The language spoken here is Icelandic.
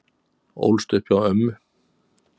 Ólst upp hjá ömmu